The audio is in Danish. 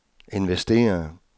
investere